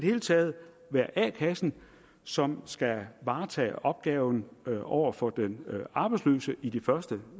hele taget være a kassen som skal varetage opgaven over for den arbejdsløse i de første